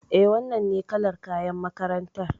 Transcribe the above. Eh, wannan ne kalar kayan makarantar